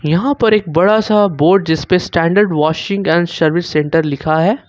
यहां पर एक बड़ा सा बोर्ड जिस पे standard washing and service centre लिखा है।